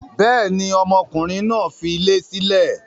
Bẹ́ẹ̀ni, ọmọkùnrin náà dilé sílẹ̀.